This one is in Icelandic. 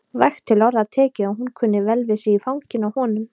Vægt til orða tekið að hún kunni vel við sig í fanginu á honum.